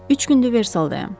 Üç gündür Versaldayam.